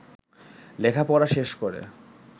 লেখাপড়া শেষ করে